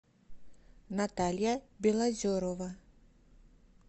наталья белозерова